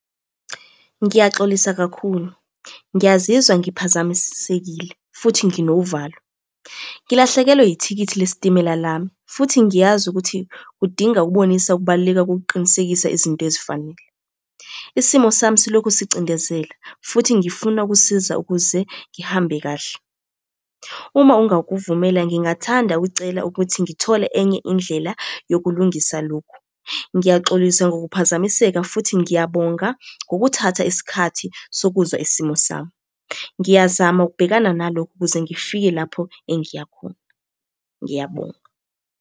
Ngiyaxolisa kakhulu, ngiyazizwa ngiphazamisekile futhi nginovalo. Ngilahlekelwe yithikithi lesitimela lami, futhi ngiyazi ukuthi kudinga ukubonisa ukubaluleka kokuqinisekisa izinto ezifanele. Isimo sami silokhu sicindezela, futhi ngifuna ukusiza ukuze ngihambe kahle. Uma ungakuvumela ngingathanda ukucela ukuthi ngithole enye indlela yokulungisa lokhu. Ngiyaxolisa ngokuphazmiseka futhi ngiyabonga ngokuthatha isikhathi sokuzwa isimo sami. Ngiyazama ukubhekana nalokho, ukuze ngifike lapho engiyakhona, ngiyabonga.